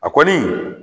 A kɔni